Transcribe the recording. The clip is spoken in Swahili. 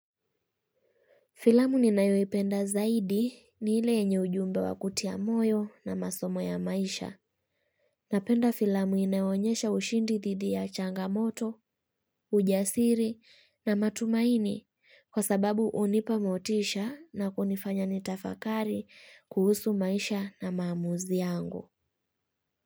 Filamu ni nayoipenda zaidi ni ile yenye ujumbe wa kutia moyo na masomo ya maisha. Napenda filamu inayoonyesha ushindi dhidi ya changamoto, ujasiri na matumaini kwa sababu hunipa motisha na kunifanya nitafakari kuhusu maisha na maamuzi yangu.